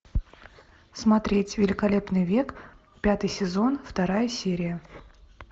смотреть великолепный век пятый сезон вторая серия